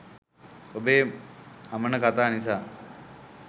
ඔබේ අමන කතා නිසා